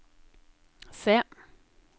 se